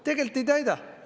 Tegelikult ei täida.